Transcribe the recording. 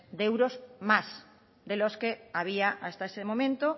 de euros más de los que había hasta ese momento